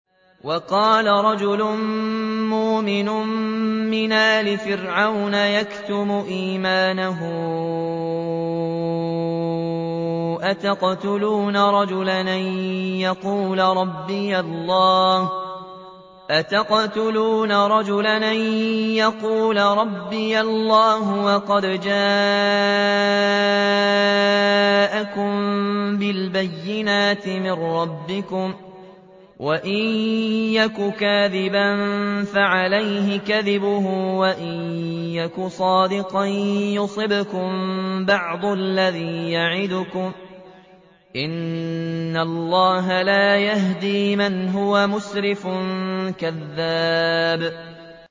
وَقَالَ رَجُلٌ مُّؤْمِنٌ مِّنْ آلِ فِرْعَوْنَ يَكْتُمُ إِيمَانَهُ أَتَقْتُلُونَ رَجُلًا أَن يَقُولَ رَبِّيَ اللَّهُ وَقَدْ جَاءَكُم بِالْبَيِّنَاتِ مِن رَّبِّكُمْ ۖ وَإِن يَكُ كَاذِبًا فَعَلَيْهِ كَذِبُهُ ۖ وَإِن يَكُ صَادِقًا يُصِبْكُم بَعْضُ الَّذِي يَعِدُكُمْ ۖ إِنَّ اللَّهَ لَا يَهْدِي مَنْ هُوَ مُسْرِفٌ كَذَّابٌ